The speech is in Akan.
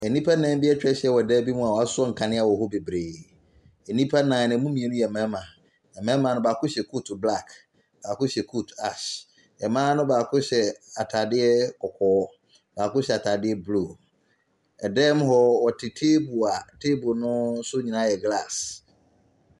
Nnipa nnan atwa ahyia wɔ dan bi mu a wɔasɔ nkanea wɔ hɔ bebree, nnipa nnan no mmienu yɛ mmarima. Mmarima ne baako hyɛ kooti black, baako hyɛ kooti ash. Mmaa ne baako hyɛ ataadeɛ kɔkɔɔ, baako hyɛ ataadeɛ blue. Dan mu hɔ wɔte table a table ne so nyinaa yɛ glass.